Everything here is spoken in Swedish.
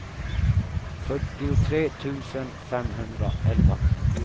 fyrtiotre tusen femhundraelva